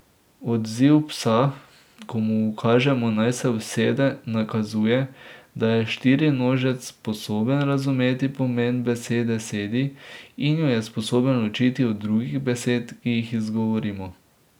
Odziv psa, ko mu ukažemo, naj se usede, nakazuje, da je štirinožec sposoben razumeti pomen besede sedi in jo je sposoben ločiti od drugih besed, ki jih izgovorimo.